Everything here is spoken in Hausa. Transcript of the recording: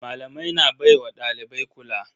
Malamai na baiwa dalibai kula.